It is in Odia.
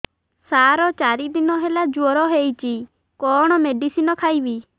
ସାର ଚାରି ଦିନ ହେଲା ଜ୍ଵର ହେଇଚି କଣ ମେଡିସିନ ଖାଇବି